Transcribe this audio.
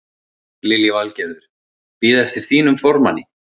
Lillý Valgerður: Bíða eftir þínum formanni?